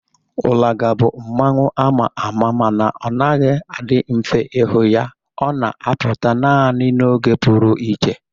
Ulaga bụ mmanwu a ma ama mana ọ naghị adị mfe ịhụ ya. Ọ na-apụta naanị n'oge pụrụ iche